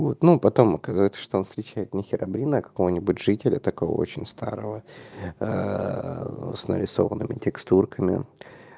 вот ну потом оказывается что он встречает не херобрина какого-нибудь жители такого очень старого с нарисованными текстурками